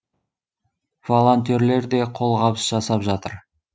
волонтерлер де қолғабыс жасап жатыр